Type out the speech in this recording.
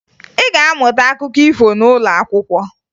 Ị ga-amụta akụkọ ifo n'ụlọ akwụkwọ